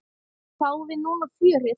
Fáum við núna fjörið?